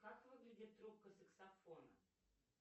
как выглядит трубка саксофона